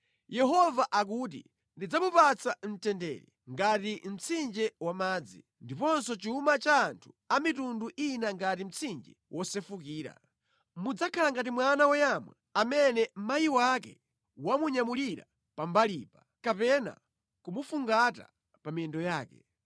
Yehova akuti, “Ndidzamupatsa mtendere ngati mtsinje wa madzi, ndiponso chuma cha anthu a mitundu ina ngati mtsinje wosefukira. Mudzakhala ngati mwana woyamwa amene amayi ake amunyamulira pambalipa, kapena kumufungata pa miyendo yake.